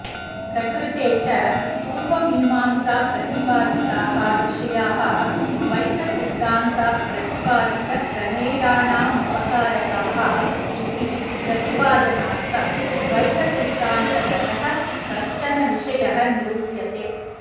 प्रकृते च पूर्वमीमांसाप्रतिपादिताः विषयाः द्वैतसिध्दान्तप्रतिपादितप्रमेयाणामुपकारकाः इति प्रतिपादनार्थं द्वैतसिध्दान्तगतः कश्चन विषयः निरुप्यते